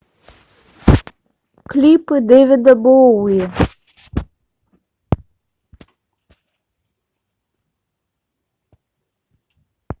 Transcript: клипы дэвида боуи